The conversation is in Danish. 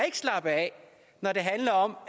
ikke slappe af når det handler om